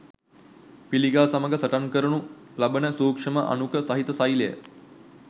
පිළිකා සමග සටන් කරනු ලබන සූක්ෂම අණුක සහිත සෛල